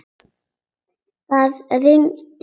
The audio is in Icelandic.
Það rigndi.